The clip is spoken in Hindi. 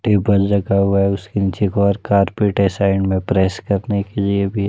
टेबल रखा हुआ है। उसके नीचे एक और कारपेट है साइड में प्रेस करने के लिए भी --